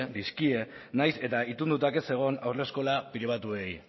dizkie nahiz eta itunduta ez egon haur eskola pribatuei